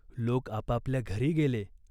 लोक आपापल्या घरी गेले.